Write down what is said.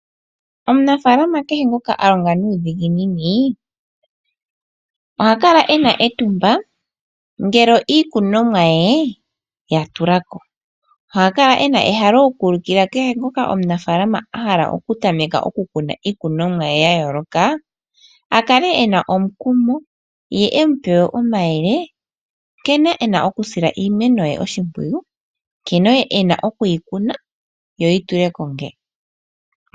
Omunafaalama kehe ngoka a longa nuudhiginini oha kala e na etumba ngele iikunomwa ye ya tula ko. Oha kala e na ehalo oku ulukila kehe omunafaalama ngoka a hala okutameka okukuna iikunomwa ye ya yooloka a kale e na omukumo ye e mu pe wo omayele nkene e na okusila iimeno ye oshimpwiyu, nkene e na okuyi kuna yo yi tule ko nawa.